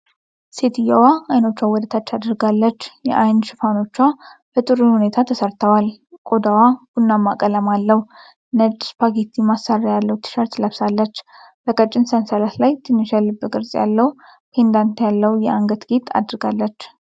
ሴትየዋ አይኖቿን ወደ ታች አድርጋለች። የዓይን ሽፋኖቿ በጥሩ ሁኔታ ተሰርተዋል፤ ቆዳዋ ቡናማ ቀለም አለው። ነጭ ስፓጌቲ ማሰሪያ ያለው ቲሸርት ለብሳለች። በቀጭን ሰንሰለት ላይ ትንሽ የልብ ቅርጽ ያለው ፔንዳንት ያለው የአንገት ጌጥ አድርጋለች።